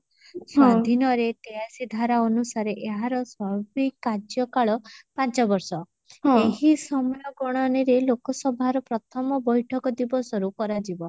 ସ୍ଵାଧୀନରେ ତେୟାଅଶି ଧାରା ଅନୁସାରେ ଏହାର ସର୍ବି କାର୍ଯ୍ୟ କାଳ ପାଞ୍ଚବର୍ଷ ଏହି ସମୟ ଗଣନିରେ ଲୋକସଭାର ପ୍ରଥମ ବୈଠକ ଦିବସରୁ କରାଯିବ